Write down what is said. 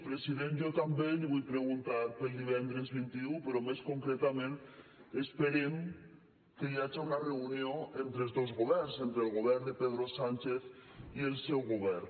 president jo també li vull preguntar pel divendres vint un però més concretament esperem que hi hagi una reunió entre els dos governs entre el govern de pedro sánchez i el seu govern